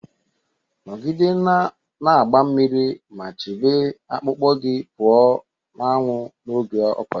Nọgide na-agba mmiri ma chebe akpụkpọ gị pụọ na anwụ n'oge ọkọchị